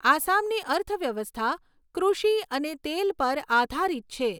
આસામની અર્થવ્યવસ્થા કૃષિ અને તેલ પર આધારિત છે.